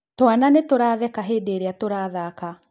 Twana nĩtũratheka hĩndĩ ĩrĩa tũrathaka